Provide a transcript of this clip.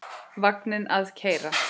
Vagninn að keyra.